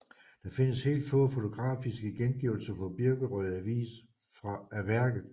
Der findes helt få fotografiske gengivelser på Birkerød Avis af værket